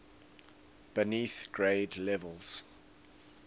beneath grade levels